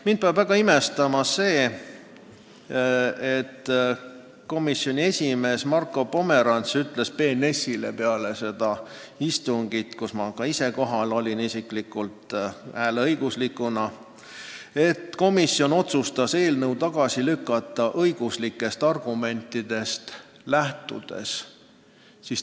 Mind paneb väga imestama, et komisjoni esimees Marko Pomerants ütles BNS-ile peale seda komisjoni istungit, kus ma ka ise hääleõiguslikuna osalesin, et komisjon otsustas eelnõu tagasi lükata õiguslikest argumentidest lähtudes.